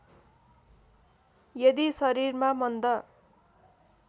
यदि शरीरमा मन्द